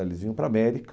Eles vinham para a América.